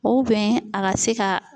a ka se ka